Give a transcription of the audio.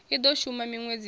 i do shuma minwedzi ya